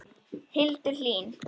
Hildur Hlín.